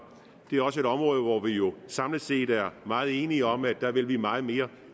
det er også et område hvor vi jo samlet set er meget enige om at vi vil meget mere